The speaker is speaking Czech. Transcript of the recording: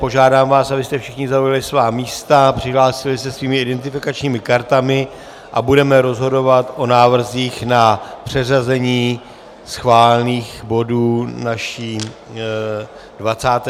Požádám vás, abyste všichni zaujali svá místa, přihlásili se svými identifikačními kartami, a budeme rozhodovat o návrzích na přeřazení schválených bodů naší 27. schůze.